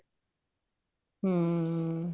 ਹਮ